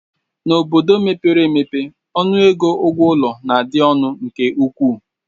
N'obodo mepere emepe, ọnụego ụgwọ ụlọ na-adị ọnụ nke ukwuu